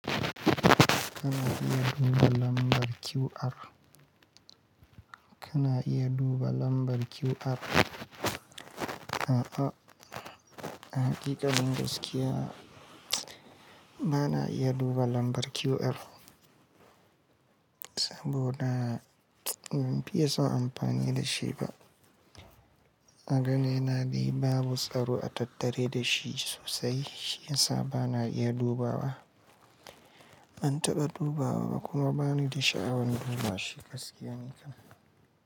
Kana iya duba lambar QR. Kana iya duba lambar QR. A'a, a hakikanin gaskiya bana iya duba lambar QR saboda ban fiye son amfani da shi ba. Aganina ni babu tsaro a tattare da shi sosai shi ya sa ba na iya dubawa. Ban taɓa dubawa ba kuma bani da sha'awan duba shi gaskiya ne kan.